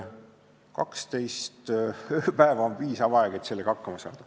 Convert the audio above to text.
12 ööpäeva on piisav aeg, et hakkama saada.